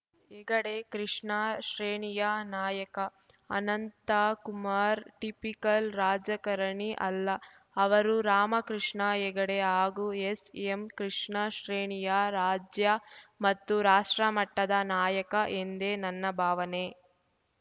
ಹೆಗಡೆ ಕೃಷ್ಣ ಶ್ರೇಣಿಯ ನಾಯಕ ಅನಂತ ಕುಮಾರ್ ಟಿಪಿಕಲ್‌ ರಾಜಕರಣಿ ಅಲ್ಲ ಅವರು ರಾಮಕೃಷ್ಣ ಹೆಗಡೆ ಹಾಗೂ ಎಸ್‌ಎಂಕೃಷ್ಣ ಶ್ರೇಣಿಯ ರಾಜ್ಯ ಮತ್ತು ರಾಷ್ಟ್ರಮಟ್ಟದ ನಾಯಕ ಎಂದೇ ನನ್ನ ಭಾವನೆ